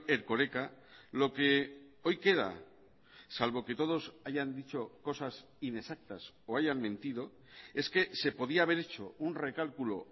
erkoreka lo que hoy queda salvo que todos hayan dicho cosas inexactas o hayan mentido es que se podía haber hecho un recálculo